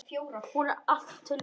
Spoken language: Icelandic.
Hún er til alls vís.